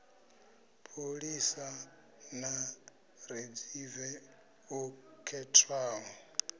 pholisa ḽa ridzeve ḽo khethwaho